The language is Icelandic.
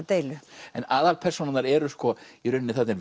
deilu aðalpersónurnar eru í rauninni þarna er